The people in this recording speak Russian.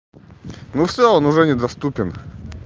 ну всё он уже недоступен